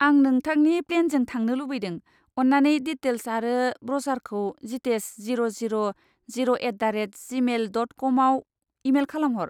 आं नोंथांनि प्लेनजों थांनो लुबैदों, अन्नानै डिटेल्स आरो ब्र'शारखौ Jitesh zero zero zero at the rate gmail dot com आव इमेल खालाम हर।